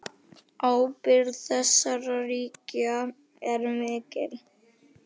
Ábyrgð þessara ríkja er mikil.